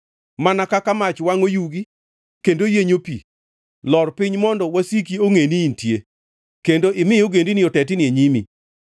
mana kaka mach wangʼo yugi kendo yienyo pi, lor piny mondo wasiki ongʼe ni intie, kendo imi ogendini otetni e nyimi!